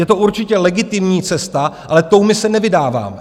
Je to určitě legitimní cesta, ale tou my se nevydáváme.